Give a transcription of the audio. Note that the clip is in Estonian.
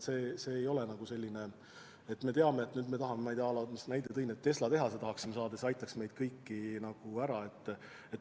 Meil ei ole selline visioon, et me nüüd tahame, nagu ma enne näite tõin, saada Tesla tehase, mis aitaks meid kõiki hädast välja.